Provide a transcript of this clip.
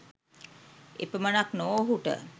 එපමණක් නොව ඔහුට